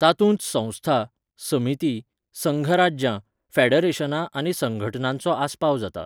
तातूंत संस्था, समिती, संघराज्यां, फॅडरेशनां आनी संघटनांचो आस्पाव जाता.